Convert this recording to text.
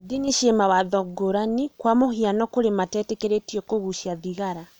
Ndini ci mawatho ngũrani kwa mũhiano kũrĩ matetĩkĩrĩtio kũgucia thigara.